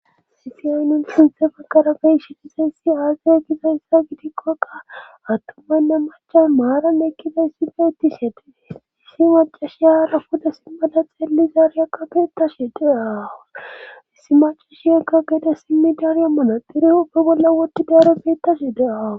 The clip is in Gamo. Sifiyaayi nun sinthe fagarabey shixiseyssi aazaya gizayssa gidikkoqa attumaynne macan maarane ekkiza issifeitti shedeissi macashiyaarafuda simmada xeelli zaarya qabeetashe deaawu issi macashi egga geda simmi daarya manadiri opbe bolla wodi daaro beettashe de'awu.